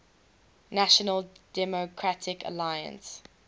national democratic alliance